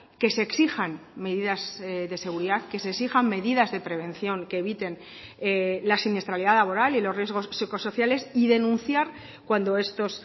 que se exijan medidas de seguridad que se exijan medidas de prevención que eviten la siniestralidad laboral y los riesgos psicosociales y denunciar cuando estos